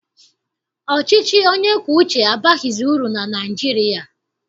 Ọchịchị onye kwue uche abaghịzi uru na Naịjirịa.